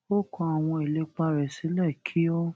ó kọ àwọn ìlépa rè sílè kí ó